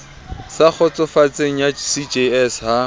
sa kgotsofatseng ya cjs ha